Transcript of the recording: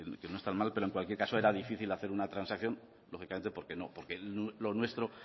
que no está mal pero en cualquier caso era difícil hacer una transacción lógicamente porque no porque lo nuestro